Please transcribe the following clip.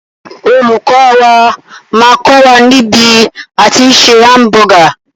Olùkọ́ wà máà kọ́ wà ní bí a tí ń se hamburger.